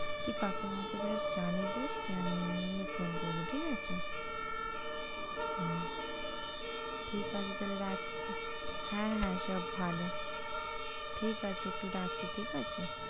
তুই কাকিমা কে ব্যাস জানিয়ে দিস কি আমি এমনি এমনি phone করবো ঠিক আছে? হুম ঠিক আছে তাহলে রাখছি, হ্যাঁ হ্যাঁ সব ভালো ঠিক আছে একটু রাখছি ঠিক আছে?